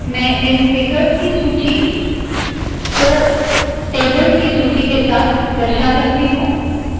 मैं इन फिगर्स की सूची को टेबल्स की सूची के साथ दर्शा सकती हूँ